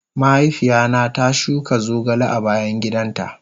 Mahaifiya na ta shuka zogale a bayan gidan ta.